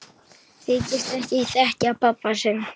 Þykist ekki þekkja pabba sinn!